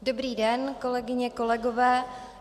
Dobrý den, kolegyně, kolegové.